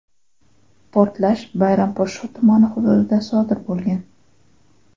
Portlash Bayramposhsho tumani hududida sodir bo‘lgan.